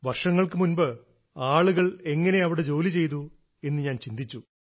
വർഷങ്ങൾക്കു മുൻപ് ആളുകൾ എങ്ങനെ അവിടെ ജോലി ചെയ്തു എന്ന് ഞാൻ ചിന്തിച്ചു